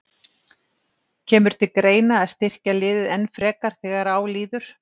Kemur til greina að styrkja liðið enn frekar þegar á líður?